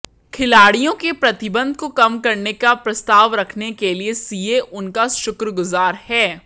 खिलाड़ियों के प्रतिबंध को कम करने का प्रस्ताव रखने के लिए सीए उनका शुक्रगुजार है